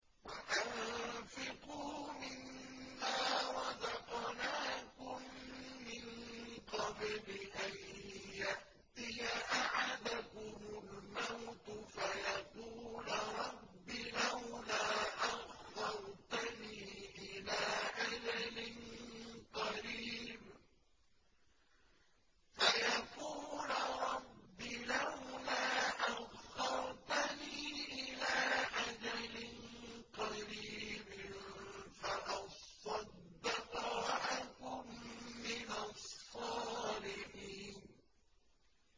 وَأَنفِقُوا مِن مَّا رَزَقْنَاكُم مِّن قَبْلِ أَن يَأْتِيَ أَحَدَكُمُ الْمَوْتُ فَيَقُولَ رَبِّ لَوْلَا أَخَّرْتَنِي إِلَىٰ أَجَلٍ قَرِيبٍ فَأَصَّدَّقَ وَأَكُن مِّنَ الصَّالِحِينَ